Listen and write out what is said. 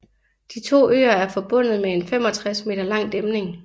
De to øer er forbundet med en 65 meter lang dæmning